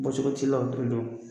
Bɔ cɔgɔ t'i la don